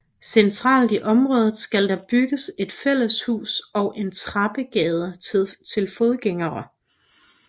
Centralt i området skal der bygges et fælleshus og en trappegade til fodgængere